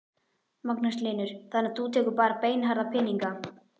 Magnús Hlynur: Þannig að þú tekur bara beinharða peninga?